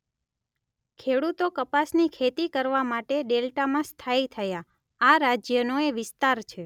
ખેડૂતો કપાસની ખેતી કરવા માટે ડેલ્ટામાં સ્થાયી થયા; આ રાજ્યનો એ વિસ્તાર છે